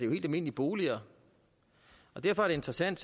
helt almindelige boliger og derfor er det interessant